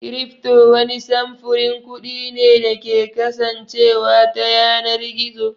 Cryfto wani samfurin kuɗi ne da ke kasancewa ta yanar gizo